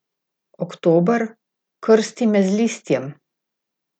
Oktober, krsti me z listjem!